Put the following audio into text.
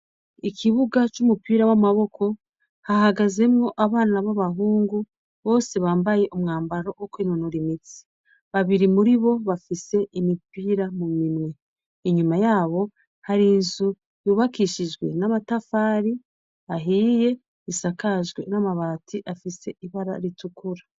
Ikibuga c'umpira w'amaboko hahagazemwo abana b'abahungu bose bambaye umwambaro wo kwinonora imitsi. Babiri muri bo bafise imipira mu minwe. Inyuma yabo hari inzu yubakishijwe n'amatafari ahiye isakajwe n'amabati afise ibara ritukura.